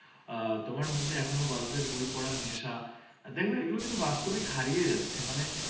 আহ তোমার মধ্যে এখনো গল্পের বই পড়ার নেশা। দেখবে এগুলো কিন্তু বাস্তবে হারিয়ে যাচ্ছে। মানে